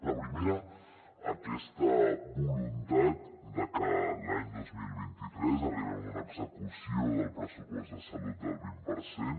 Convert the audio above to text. la primera aquesta voluntat de que l’any dos mil vint tres arribem a una execució del pressupost de salut del vint per cent